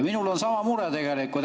Minul on sama mure tegelikult.